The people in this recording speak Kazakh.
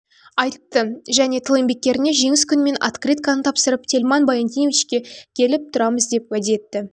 айтты және тыл еңбеккеріне жеңіс күнімен открытканы тапсырып тельман баяндиновичке келіп тұрамыз деп уәде етті